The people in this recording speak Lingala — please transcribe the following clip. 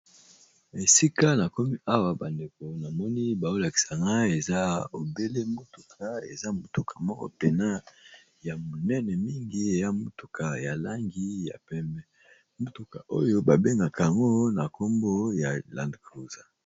Esika nakomi awa bandeko namoni bazo lakisa ngai mutuka ya munene ya langi ya pembe ba bengaka yango land cruiser.